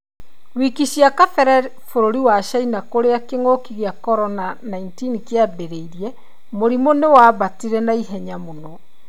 Wiki ciakabere bũrũri wa China kũria kĩngũki kĩa corona 19 kĩaũmirire ,mũrimũ nĩwaambatire naihenya mũno